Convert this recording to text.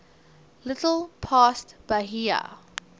little past bahia